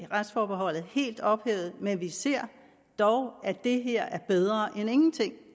retsforbeholdet helt ophævet men vi ser dog at det her er bedre end ingenting